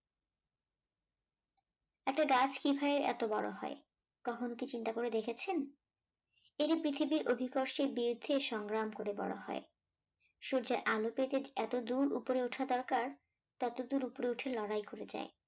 একটা কাজ কিভাবে এত বড় হয়? কখনো কি চিন্তা করে দেখেছেন এটি পৃথিবীর অধিকর্ষে বৃদ্ধির সংগ্রাম করে বড় হয় সূর্যের আলো পেতে এতদূর উপরে ওঠা দরকার ততদূর উপরে উঠে লড়াই করে যায়